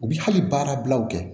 U bi hali baara bilaw kɛ